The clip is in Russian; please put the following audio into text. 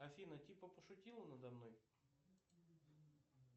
афина типа пошутила надо мной